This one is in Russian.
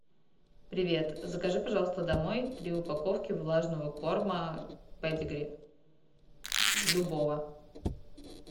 привет закажи пожалуйста домой три упаковки влажного корма педигри любого